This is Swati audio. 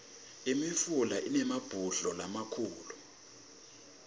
imifula inemabhudlo lamakhulu